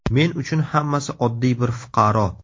Men uchun hammasi oddiy bir fuqaro.